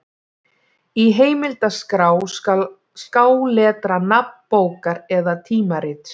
Í heimildaskrá skal skáletra nafn bókar eða tímarits.